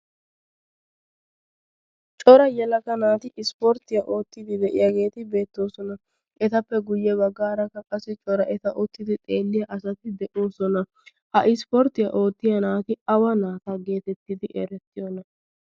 cora yalaka naati ispporttiyaa oottidi de'iyaageeti beettoosona etappe guyye baggaarakka qassi cora eta ottidi xeelliya asati de'oosona ha ispporttiyaa oottiya naati awa naata geetettidi erettiyoona?